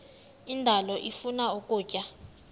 indalo ifuna ukutya